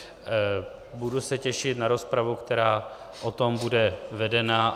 Budu se těšit na rozpravu, která o tom bude vedena.